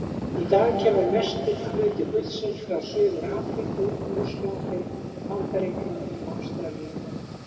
Í dag kemur mestur hluti gullsins frá Suður-Afríku, Rússlandi, Bandaríkjunum og Ástralíu.